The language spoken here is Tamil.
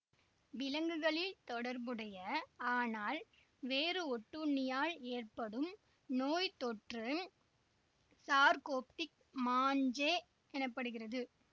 விலங்குகளில் தொடர்புடைய ஆனால் வேறு ஒட்டுண்ணியால் ஏற்படும் நோய்த்தொற்று சார்கோப்டிக் மாஞ்சே எனப்படுகிறது